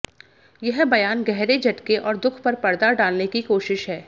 यह बयान गहरे झटके और दुख पर पर्दा डालने की कोशिश है